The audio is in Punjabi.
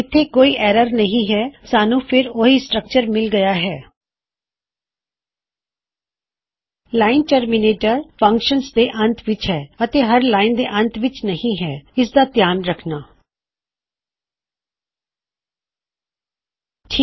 ਇਥੇ ਕੋਈ ਐੱਰਰ ਨਹੀ ਹੈ ਸਾਨੂੰ ਫੇਰ ਸੇਮ ਸਟਰੱਕਚਰ ਮਿਲੇਗਾ ਅਸੀਂ ਹੁਣੇ ਹੀ ਉਹਨਾ ਨੂੰ ਲਾਇਨਜ ਤੇ ਲੈ ਆਏ ਹਾਂ ਇਸ ਫੰਗਸ਼ਨ ਦੇ ਅੰਤ ਵਿੱਚ ਲਾਇਨ ਟਰਮਿਨੇਟਰ ਹੈ ਅਤੇ ਹਰ ਲਾਇਨ ਦੇ ਅੰਤ ਵਿੱਚ ਨਹੀ ਹੈ ਇਸ ਕਰਕੇ ਤੁਸੀਂ ਉਲਝ ਨਾ ਜਾਣਾ